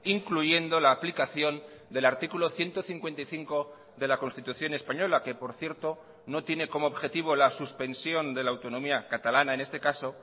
incluyendo la aplicación del artículo ciento cincuenta y cinco de la constitución española que por cierto no tiene como objetivo la suspensión de la autonomía catalana en este caso